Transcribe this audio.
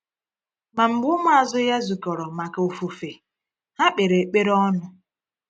Ma mgbe ụmụazụ Ya zukọrọ maka ofufe, ha kpere ekpere ọnụ.